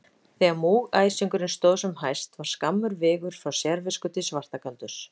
Þegar múgæsingurinn stóð sem hæst var skammur vegur frá sérvisku til svartagaldurs.